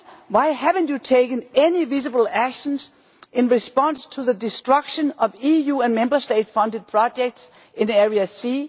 Why have you not taken any visible actions in response to the destruction of EU and Member State funded projects in Area C?